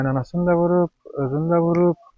Qaynanasını da vurub, özünü də vurub.